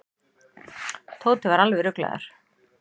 Tóti var alveg ruglaður.